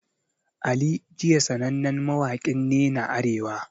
Ali jiya sanannen mawakin nena Arewa